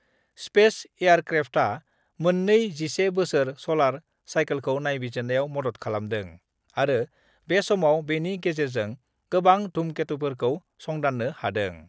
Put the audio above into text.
Space एयारक्रेफ्टआ मोननै 11 बोसोर सलार साइकलखौ नायबिजिरनायाव मदद खालामदों आरो बे समाव बेनि गेजेरजों गोबां धुमकेटुफोरखौ संदान्नो हादों।